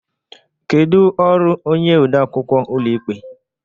Kedu ọrụ onye ode akwụkwọ ụlọikpe?